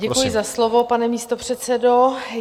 Děkuji za slovo, pane místopředsedo.